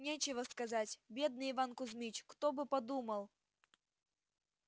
нечего сказать бедный иван кузмич кто бы подумал